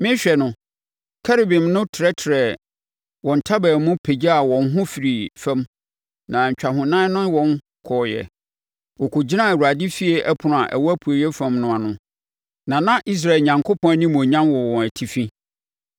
Merehwɛ no, Kerubim no trɛtrɛɛ wɔn ntaban mu pagyaa wɔn ho firii fam na ntwahonan no ne wɔn kɔɔeɛ. Wɔkɔgyinaa Awurade efie ɛpono a ɛwɔ apueeɛ fam no ano, na na Israel Onyankopɔn animuonyam wɔ wɔn atifi.